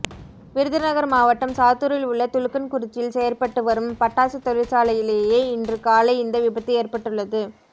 விருதுநகர் மாவட்டம் சாத்தூரில் உள்ள துலுக்கன்குறிச்சியில் செயற்பட்டுவரும் பட்டாசு தொழிற்சாலையிலேயே இன்று காலை இந்த விபத்து ஏற்பட்டுள்ளது